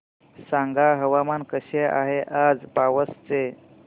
सांगा हवामान कसे आहे आज पावस चे